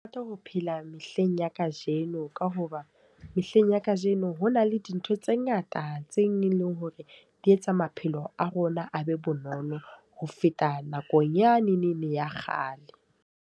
Ke ho phela mehleng ya kajeno. Ka hoba mehleng ya kajeno ho na le dintho tse ngata tse leng hore di etsa maphelo a rona a be bonolo ho feta nakong yanene ya kgale.